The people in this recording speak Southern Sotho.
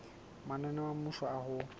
mananeo a mmuso a ho